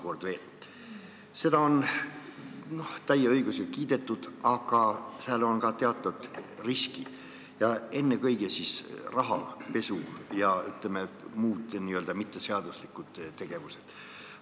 Seda on täie õigusega kiidetud, aga seal on ka teatud riskid, ennekõike rahapesu ja muud, ütleme, mitteseaduslikud tegevused.